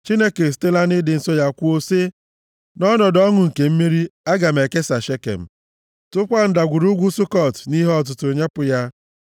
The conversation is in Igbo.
Chineke esitela nʼịdị nsọ ya kwuo, sị, “Nʼọnọdụ ọṅụ nke mmeri, aga m ekesa Shekem, tụkwaa Ndagwurugwu Sukọt nʼihe ọtụtụ, nyepụ ya.